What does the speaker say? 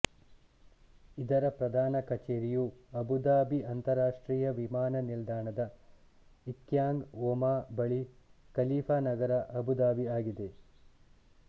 ಇದರ ಪ್ರಧಾನ ಕಚೇರಿಯು ಅಬುಧಾಬಿ ಅಂತಾರಾಷ್ಟ್ರೀಯ ವಿಮಾನ ನಿಲ್ದಾಣದ ಇಕ್ಯಾಂಗ್ ಒಮಾ ಬಳಿ ಖಲೀಫಾ ನಗರ ಅಬುಧಾಬಿ ಆಗಿದೆ